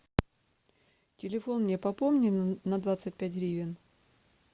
телефон мне пополни на двадцать пять гривен